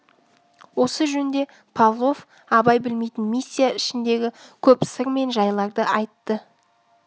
осы жөнде павлов абай білмейтін миссия ішіндегі көп сыр мен жайларды айтты